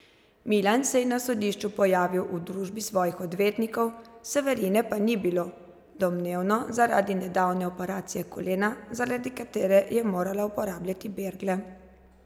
Milan se je na sodišču pojavil v družbi svojih odvetnikov, Severine pa ni bilo, domnevno zaradi nedavne operacije kolena, zaradi katere mora uporabljati bergle.